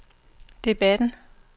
debatten